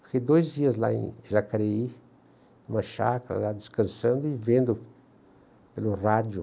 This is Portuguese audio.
Fiquei dois dias lá em em Jacareí, numa chácara, lá descansando e vendo pelo rádio.